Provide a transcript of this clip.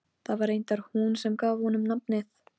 Það var reyndar hún sem gaf honum nafnið.